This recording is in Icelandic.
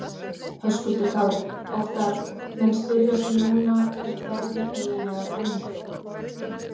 Höskuldur Kári: Óttarr, menn spyrja sig núna hvert verður eiginlega framhaldið?